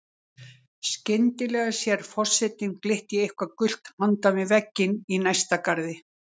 Skyndilega sér forsetinn glitta í eitthvað gult handan við vegginn í næsta garði.